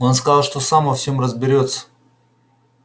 он сказал что сам во всём разберётся